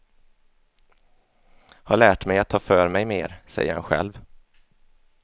Har lärt mig att ta för mig mer, säger han själv.